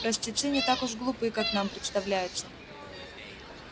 простецы не так уж глупы как нам представляется